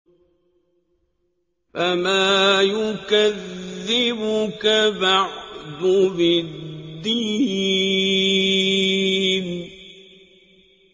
فَمَا يُكَذِّبُكَ بَعْدُ بِالدِّينِ